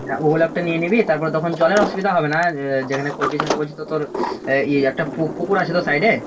ওগুলা একটা নিয়ে নিবি তারপরে তখন জল এর অসুবিধা হবে না আর যেখানে করবি সেখানে বলছিস তো তোর এই একটা পুকুর আছে তো side এ?